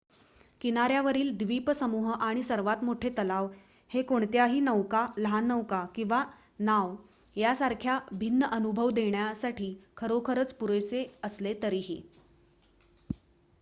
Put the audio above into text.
किनाऱ्यावरील द्वीपसमूह आणि सर्वात मोठे तलाव हे कोणत्याही नौका लहान नौका किंवा नाव यासारखा भिन्न अनुभव देण्यासाठी खरोखरच पुरेशे असले तरीही